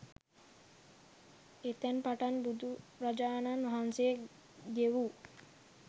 එතැන් පටන් බුදුරජාණන් වහන්සේ ගෙවූ